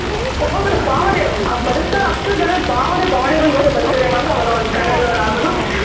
ಒಬ್ಬೊಬ್ರ್ ಭಾವನೆ ಅಷ್ಟು ಜನ ಭಾವನೆ ಭಾವನೆಗಳ್ ಜೊತೆ ಬದುಕುದ್ರೆ ಮಾತ್ರ ಅವಾಗ ಅವರ್ನ ಕನ್ನಡ ದವರ್ ಆಗೋದು